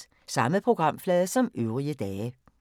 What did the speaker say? Samme programflade som øvrige dage